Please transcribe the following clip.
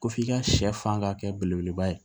Ko f'i ka sɛ fan ka kɛ belebeleba ye